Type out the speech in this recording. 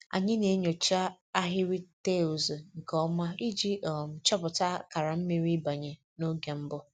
Anyị na-enyocha ahịrị taịls nke ọma iji um chọpụta akara mmiri ịbanye n'oge mbụ